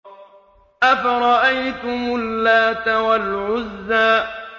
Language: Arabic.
أَفَرَأَيْتُمُ اللَّاتَ وَالْعُزَّىٰ